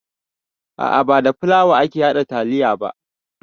A'a ba da fulawa ake haɗa taliya ba